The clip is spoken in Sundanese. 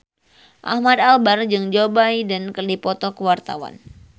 Ahmad Albar jeung Joe Biden keur dipoto ku wartawan